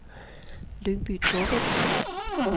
Lyngby-Taarbæk